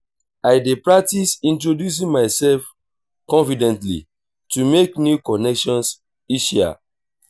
i dey practice introducing myself confidently to make new connections easier.